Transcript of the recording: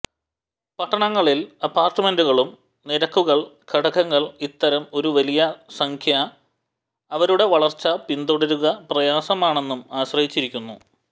പട്ടണങ്ങളിൽ അപ്പാർട്ട്മെന്റുകളും നിരക്കുകൾ ഘടകങ്ങൾ ഇത്തരം ഒരു വലിയ സംഖ്യ അവരുടെ വളർച്ച പിന്തുടരുക പ്രയാസമാണെന്നും ആശ്രയിച്ചിരിക്കുന്നു